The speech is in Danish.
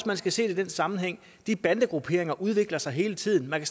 man skal se det i den sammenhæng de bandegrupperinger udvikler sig hele tiden man